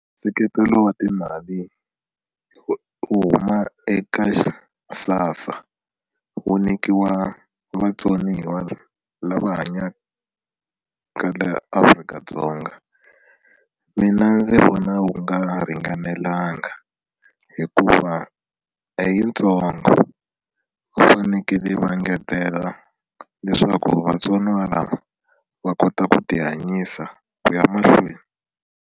Nseketelo wa timali wo huma eka SASSA wu nyikiwa vatsoniwa lava hanyaka laha Afrika-Dzonga mina ndzi vona wu nga ringanelanga hikuva i yitsongo va fanekele va engetela leswaku vatsoniwa lava va kota ku ti hanyisa ku ya mahlweni.